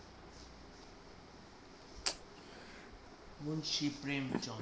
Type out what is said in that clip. মুনসি প্রেম Chan,